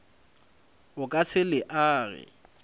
o ka se le age